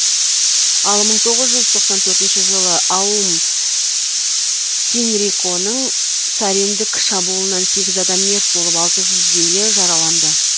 ал мың тоғыз жүз тоқсан төртінші жылы аум синриконың сариндік шабуылынан сегіз адам мерт болып алты жүздейі жараланды